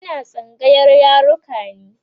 Ina tsangayar yaruka ne